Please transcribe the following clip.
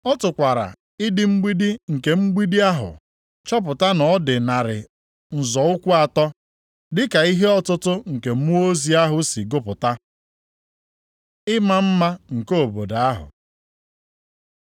Ọ tụkwara ịdị igbidi nke mgbidi ahụ chọpụta na ọ dị narị nzọ ụkwụ atọ, dịka ihe ọtụtụ nke mmụọ ozi ahụ si gụpụta. Ịma mma nke obodo ahụ